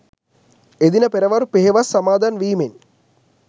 එදින පෙරවරු පෙහෙවස් සමාදන් වීමෙන්